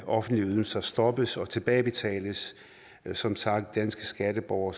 offentlige ydelser stoppes og tilbagebetales som sagt skal danske skatteborgere